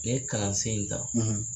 k'e kalansen in ta